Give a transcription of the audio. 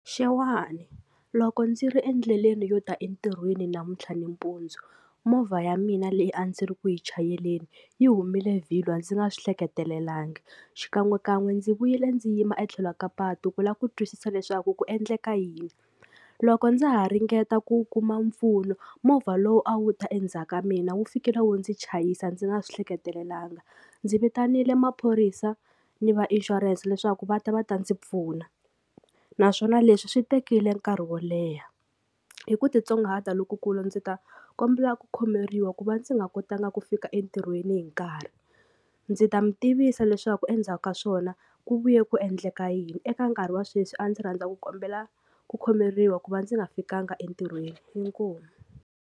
Xewani loko ndzi ri endleleni yo ta entirhweni namuntlha nampundzu movha ya mina leyi a ndzi ri ku yi chayeleni yi humile vhilwa ndzi nga swi hleketelangi xikan'wekan'we ndzi vuyile ndzi yima etlhelo ka patu ku lava ku twisisa leswaku ku endleka yini loko ndza ha ringeta ku kuma mpfuno movha lowu a wu ta endzhaku ka mina wu fikile wu ndzi chayisa ndzi nga swi hleketelelanga. Ndzi vitanile maphorisa ni va ishurense leswaku va ta va ta ndzi pfuna naswona leswi swi tekile nkarhi wo leha hi ku titsongahata lokukulu ndzi ta kombela ku khomeriwa ku va ndzi nga kotanga ku fika entirhweni hi nkarhi, ndzi ta mi tivisa leswaku endzhaku ka swona ku vuye ku endleka yini eka nkarhi wa sweswi a ndzi rhandza ku kombela ku khomeriwa ku va ndzi nga fikanga entirhweni inkomu.